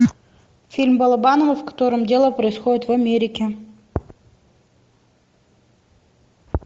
фильм балабанова в котором дело происходит в америке